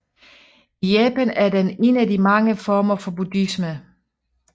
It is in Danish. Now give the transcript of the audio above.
I Japan er den en af de mange former for buddhisme